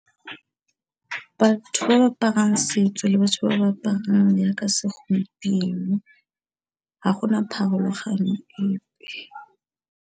Batho ba ba aparang setso le batho ba ba aparang yaka segompieno, ga gona pharologano epe.